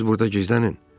Siz burda gizlənin.